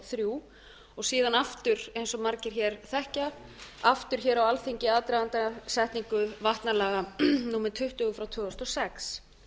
og þrjú síðan aftur eins og margir hér þekkja aftur hér á alþingi í aðdraganda setningu vatnalaga númer tuttugu tvö þúsund og sex